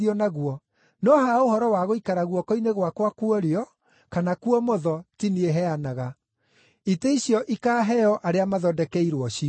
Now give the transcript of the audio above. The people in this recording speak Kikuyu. No ha ũhoro wa gũikara guoko-inĩ gwakwa kwa ũrĩo kana kwa ũmotho ti niĩ heanaga. Itĩ icio ikaaheo arĩa mathondekeirwo cio.”